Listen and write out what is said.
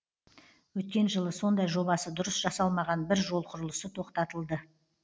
өткен жылы сондай жобасы дұрыс жасалмаған бір жол құрылысы тоқтатылды